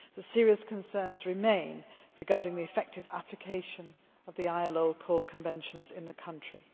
Serious concerns remain concerning the effective application of the ILO core conventions in the country.